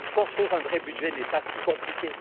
Construire un vrai budget n'est pas si compliqué.